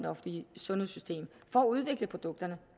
offentlige sundhedssystem for at udvikle produkterne